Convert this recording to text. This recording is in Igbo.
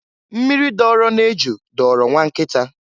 Mmiri doro n'eju dọọrọ nwa nkịta.